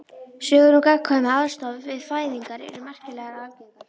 Sögur um gagnkvæma aðstoð við fæðingar eru merkilega algengar.